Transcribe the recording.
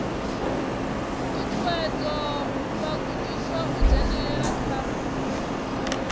ṱuṱuwedza vhagudiswa u dzhenelela kha